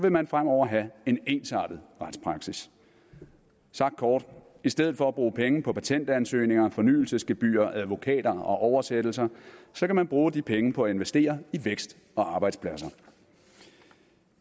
man fremover have en ensartet retspraksis sagt kort i stedet for at bruge penge på patentansøgninger og fornyelsesgebyrer advokater og oversættelser kan man bruge de penge på at investere i vækst og arbejdspladser